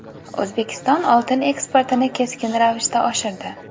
O‘zbekiston oltin eksportini keskin ravishda oshirdi.